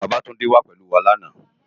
Babatunde wá pélú wá làná